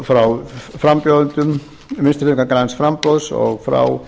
frá frambjóðendum vinstri hreyfingarinnar græns framboðs og frá